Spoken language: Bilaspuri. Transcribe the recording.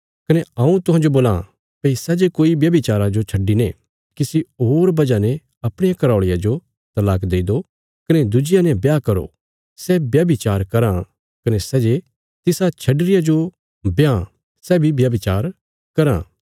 कने हऊँ तुहांजो बोलां भई सै जे कोई व्यभिचारा जो छड्डिने किसी होर वजह ने अपणिया घराऔल़िया जो तलाक देई दो कने दुज्जिया ने ब्याह करो सै व्यभिचार कराँ कने सै जे तिसा छड्डी रिया जो ब्यांह सै बी व्यभिचार कराँ